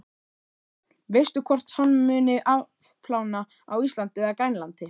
Sunna: Veistu hvort hann muni afplána á Íslandi eða Grænlandi?